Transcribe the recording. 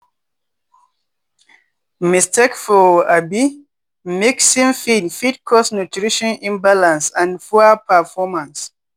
mistake for um mixing feed fit cause nutrition imbalance and poor performance.